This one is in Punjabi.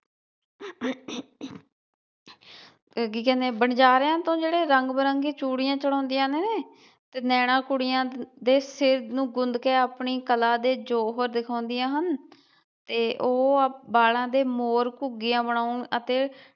ਕੀ ਕਹਿੰਦੇ ਵਣਜਾਰਿਆ ਤੋਂ ਜਿਹੜੇ ਰੰਗ ਬਿਰੰਗੀਆਂ ਚੂੜੀਆਂ ਚੜ੍ਹਾਉਂਦੀਆਂ ਨੇ ਤੇ ਨੈਣਾ ਕੁੜੀਆਂ ਦੇ ਸਿਰ ਨੂੰ ਗੁੰਦ ਕੇ ਆਪਣੀ ਕਲਾ ਦੇ ਜੌਹਰ ਦਿਖਾਉਂਦੀਆਂ ਹਨ ਤੇ ਉਹ ਵਾਲਾ ਦੇ ਮੋਰ, ਘੁੱਗੀਆਂ ਬਣਾਉਣ ਅਤੇ